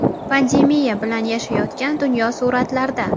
Pandemiya bilan yashayotgan dunyo suratlarda.